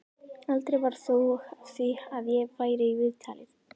Aldrei varð þó af því að ég færi í viðtalið.